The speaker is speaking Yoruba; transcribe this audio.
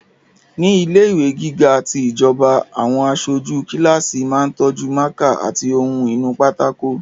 Ní ilẹ̀ ìwé gíga ti ìjọba, àwọn aṣojú kíláàsì máa tọ́jú mákà àti ohun inú pátákó